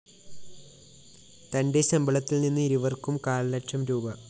തന്റെ ശമ്പളത്തില്‍ നിന്ന് ഇരുവര്‍ക്കും കാല്‍ലക്ഷം രൂപീ